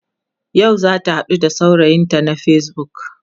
yau zata haɗu da saurayinta na facebook